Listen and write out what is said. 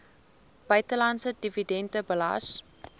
buitelandse dividende belas